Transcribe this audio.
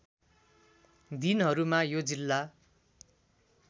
दिनहरूमा यो जिल्ला